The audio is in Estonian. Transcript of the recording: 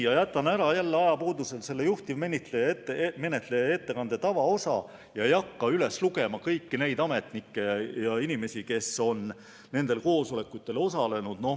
Jätan ajapuudusel ära juhtivmenetleja ettekande tavaosa ega hakka üles lugema kõiki neid ametnikke ja teisi inimesi, kes on nendel koosolekutel osalenud.